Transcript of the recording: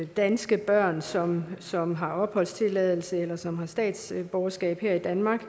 danske børn som som har opholdstilladelse eller som har statsborgerskab her i danmark